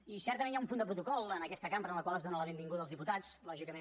i certament hi ha un punt de protocol en aquesta cambra en la qual es dóna la benvinguda als diputats lògicament